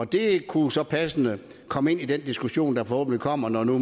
det kunne så passende komme ind i den diskussion der forhåbentlig kommer når nu